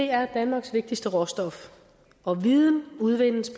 er danmarks vigtigste råstof og viden udvindes